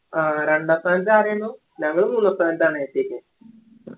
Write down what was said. ആ രണ്ടാം സ്ഥാനത്തു ആരായിരുന്നു ഞങ്ങള് മൂന്നാം സ്ഥാനത്താണ് എത്തിയ്ക്ക്